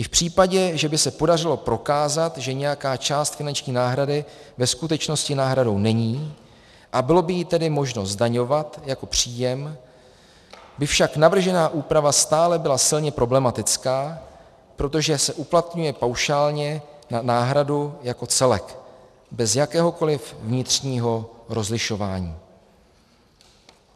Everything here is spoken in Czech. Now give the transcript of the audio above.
I v případě, že by se podařilo prokázat, že nějaká část finanční náhrady ve skutečnosti náhradou není, a bylo by ji tedy možno zdaňovat jako příjem, by však navržená úprava stále byla silně problematická, protože se uplatňuje paušálně na náhradu jako celek, bez jakéhokoli vnitřního rozlišování.